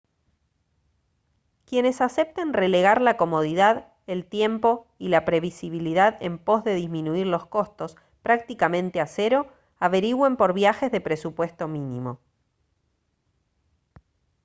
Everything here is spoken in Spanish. quienes acepten relegar la comodidad el tiempo y la previsibilidad en pos de disminuir los costos prácticamente a cero averigüen por viajes de presupuesto mínimo